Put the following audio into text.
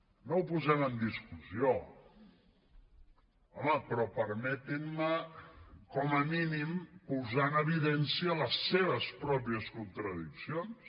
no ho posem en discussió home però permetin me com a mínim posar en evidència les seves pròpies contradiccions